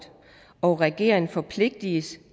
og regeringen forpligtes